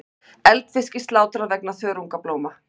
Eldisfiski slátrað vegna þörungablóma